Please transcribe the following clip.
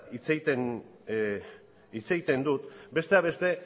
hitz egiten dut besteak beste